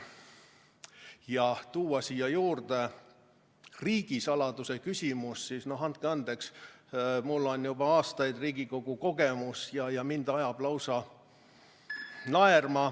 Ja kui tuua siia juurde riigisaladuse küsimus, siis, andke andeks, mul on juba aastaid Riigikogu kogemus ja mind ajab lausa naerma ...